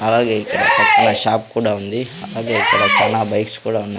అలాగే ఇక్కడ పక్కన షాప్ కూడా ఉంది అలాగే ఇక్కడ చానా బైక్స్ కూడా ఉన్నాయి.